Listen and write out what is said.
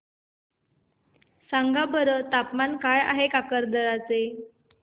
सांगा बरं तापमान काय आहे काकरदरा चे